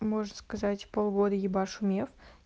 можно сказать полгода ебашу меф